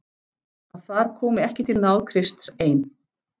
Að þar komi ekki til náð Krists ein.